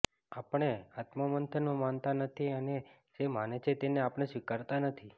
આપણે આત્મમંથનમાં માનતા નથી અને જે માને છે તેને આપણે સ્વીકારતાં નથી